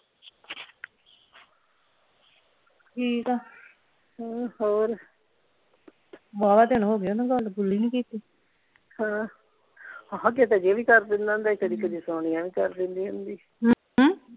ਠੀਕ ਆ ਹੋਰ ਵਾਵਾ ਦਿਨ ਹੋ ਗਏ ਓਹਨਾ ਨਾਲ ਗੱਲ ਗੁੱਲ ਹੀ ਨਹੀਂ ਕੀਤੀ ਹਾਂ ਵੀ ਕਰ ਦਿੰਦਾ ਹੁੰਦਾ ਸੀ ਕਦੀ ਕਦੀ ਸੋਨੀਆ ਵੀ ਕਰ ਦਿੰਦੀ ਹੁੰਦੀ ਸੀ।